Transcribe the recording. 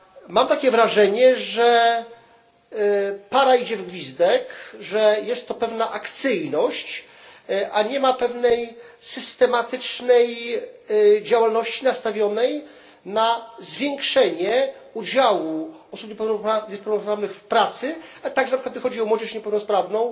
Mam takie wrażenie, że para idzie w gwizdek, że jest to pewna akcyjność, a nie ma pewnej systematycznej działalności nastawionej na zwiększenie udziału osób niepełnosprawnych w pracy, ale także, na przykład, gdy chodzi o młodzież niepełnosprawną